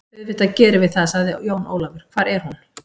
Auðvitað gerum við það, sagði Jón Ólafur, hvar er hún?